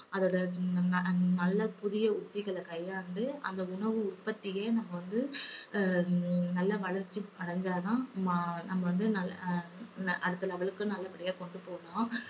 அதோட ந~ நல்ல புதிய யுக்திகளை கையாண்டு அந்த உணவு உற்பத்திய நம்ம வந்து நல்ல ஹம் வளர்ச்சி அடைஞ்சாதான் மா~ நம்ம வந்து நல்ல~ ஆஹ் அடுத்த level க்கு நல்லபடியா கொண்டு போகலாம்.